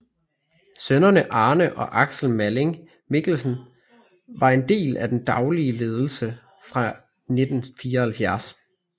Sønnerne Arne og Aksel Malling Mikkelsen var en del af den daglige ledelse fra 1974